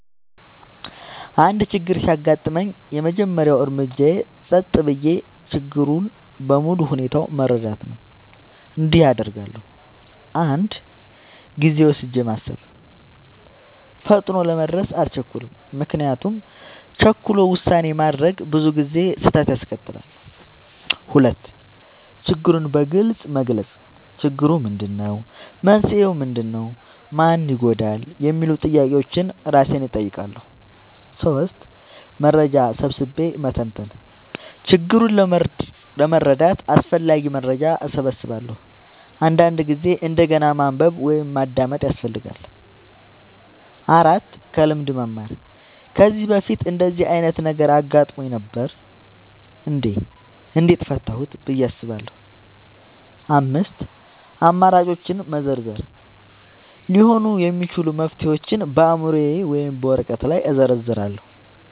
አንድ ችግር ሲያጋጥመኝ፣ የመጀመሪያው እርምጃዬ ጸጥ ብዬ ችግሩን በሙሉ ሁኔታው መረዳት ነው። እንዲህ አደርጋለሁ፦ 1. ጊዜ ወስጄ ማሰብ – ፈጥኖ ለመድረስ አልቸኩልም፤ ምክንያቱም ቸኩሎ ውሳኔ ማድረግ ብዙ ጊዜ ስህተት ያስከትላል። 2. ችግሩን በግልጽ መግለጽ – "ችግሩ ምንድነው? መንስኤው ምንድነው? ማን ይጎዳል?" የሚሉ ጥያቄዎችን እራሴን እጠይቃለሁ። 3. መረጃ ሰብስቤ መተንተን – ችግሩን ለመረዳት አስፈላጊ መረጃ እሰበስባለሁ፤ አንዳንድ ጊዜ እንደገና ማንበብ ወይም ማዳመጥ ያስፈልጋል። 4. ከልምድ መማር – "ከዚህ በፊት እንደዚህ ዓይነት ነገር አጋጥሞኝ ነበር? እንዴት ፈታሁት?" ብዬ አስባለሁ። 5. አማራጮችን መዘርዘር – ሊሆኑ የሚችሉ መፍትሄዎችን በአእምሮዬ ወይም በወረቀት ላይ እዘርዝራለሁ።